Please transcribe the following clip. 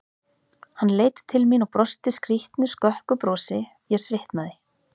Hann leit til mín og brosti skrýtnu, skökku brosi, ég svitnaði.